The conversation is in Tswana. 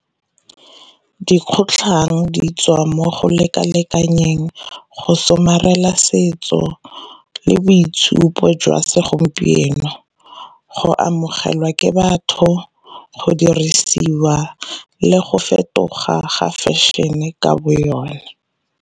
Dikgotlhang di tswa mo go leka-lekanyeng, go somarela setso le boitshupo jwa segompieno, go amogelwa ke batho, go dirisiwa le go fetoga ga fashion-e ka bo yone.